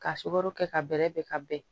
Ka sukaro kɛ ka bɛrɛ bɛn ka bɛn